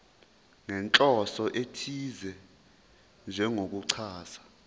nenhloso ethize njengokuchaza